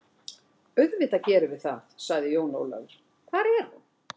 Auðvitað gerum við það, sagði Jón Ólafur, hvar er hún?